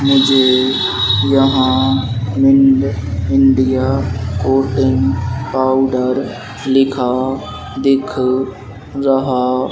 मुझे यहां India coating powder लिखा दिख रहा --